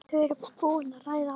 Þau eru búin að ræða það.